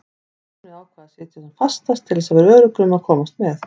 Stjáni ákvað að sitja sem fastast til þess að vera öruggur um að komast með.